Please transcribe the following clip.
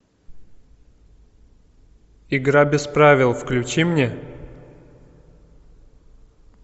игра без правил включи мне